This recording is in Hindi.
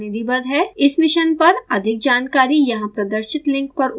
इस मिशन पर अधिक जानकारी यहाँ प्रदर्शित लिंक पर उपलब्ध है